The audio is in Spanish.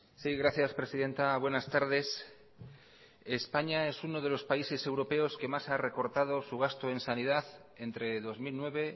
sí gracias presidenta buenas tardes españa es uno de los países europeos que más ha recortado su gasto en sanidad entre dos mil nueve